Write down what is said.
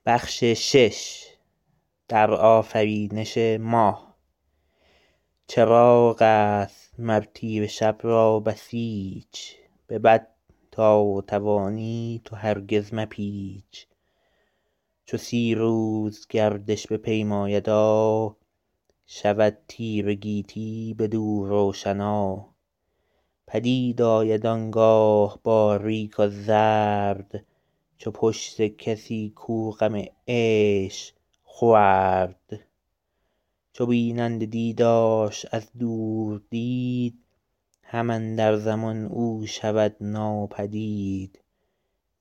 چراغ است مر تیره شب را بسیچ به بد تا توانی تو هرگز مپیچ چو سی روز گردش بپیمایدا شود تیره گیتی بدو روشنا پدید آید آنگاه باریک و زرد چو پشت کسی کو غم عشق خورد چو بیننده دیدارش از دور دید هم اندر زمان او شود ناپدید